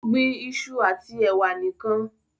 o gbìn iṣu ati ewa nìkàn